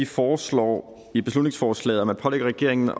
foreslår i beslutningsforslaget at man pålægger regeringen